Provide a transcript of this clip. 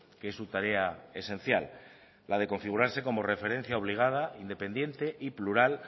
que es su tarea esencial la de configurarse como referencia obligada independiente y plural